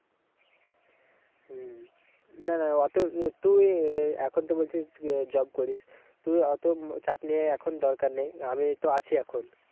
হম না না অত তুই এখন তো বলছিস job করিস, তুই ওতো চাপ নিয়ে এখন দরকার নেই, আমি তো আছি এখন।